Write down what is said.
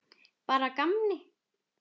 Bara að gamni.